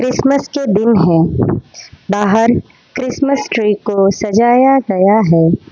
Christmas के दिन हैं बाहर क्रिसमस ट्री को सजाया गया है।